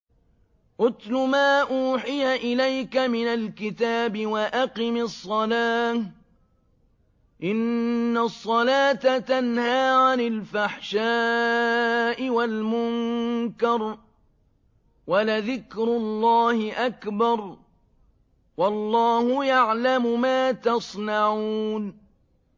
اتْلُ مَا أُوحِيَ إِلَيْكَ مِنَ الْكِتَابِ وَأَقِمِ الصَّلَاةَ ۖ إِنَّ الصَّلَاةَ تَنْهَىٰ عَنِ الْفَحْشَاءِ وَالْمُنكَرِ ۗ وَلَذِكْرُ اللَّهِ أَكْبَرُ ۗ وَاللَّهُ يَعْلَمُ مَا تَصْنَعُونَ